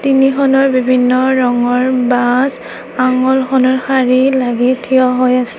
তিনিখনৰ বিভিন্ন ৰঙৰ বাছ শাৰী লাগি থিয় হৈ আছে।